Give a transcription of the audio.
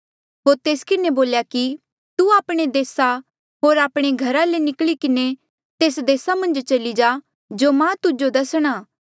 होर तेस किन्हें बोल्या कि तू आपणे देसा होर आपणे घरा ले निकली किन्हें तेस देसा मन्झ चली जा जो मां तुजो दसणा